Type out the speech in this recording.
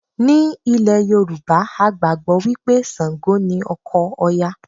Ní ilẹ̀ Yorùbá, a gbàgbọ́ wí pé Ṣàǹgò ni ọkọ Òya